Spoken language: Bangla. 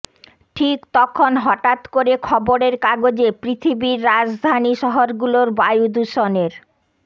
ঠিক তখন হঠাৎ করে খবরের কাগজে পৃথিবীর রাজধানী শহরগুলোর বায়ুদূষণের